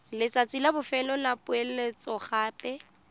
letsatsi la bofelo la poeletsogape